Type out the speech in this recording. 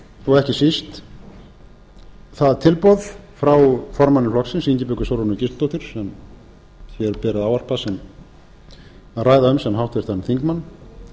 og ekki síst það tilboð frá formanni flokksins ingibjörgu sólrúnu gísladóttur sem hér ber að ræða um sem háttvirtan þingmann